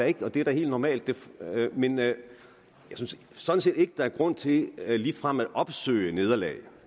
ikke og det er da helt normalt jeg synes sådan set ikke der er grund til ligefrem at opsøge nederlag